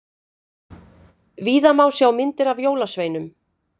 Víða má sjá myndir af jólasveinum.